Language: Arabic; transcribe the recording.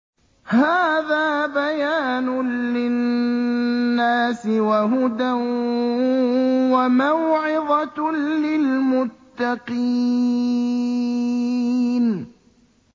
هَٰذَا بَيَانٌ لِّلنَّاسِ وَهُدًى وَمَوْعِظَةٌ لِّلْمُتَّقِينَ